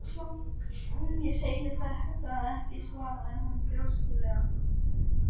Ég segi það ekki svaraði hann þrjóskulega.